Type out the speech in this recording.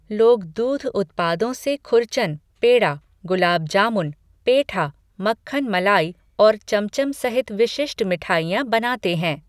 लोग दूध उत्पादों से खुरचन, पेड़ा, गुलाब जामुन, पेठा, मक्खन मलाई और चमचम सहित विशिष्ट मिठाइयाँ बनाते हैं।